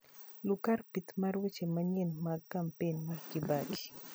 Lu kar pith mar weche manyien mag kampen mar kibaki